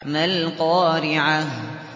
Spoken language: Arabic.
مَا الْقَارِعَةُ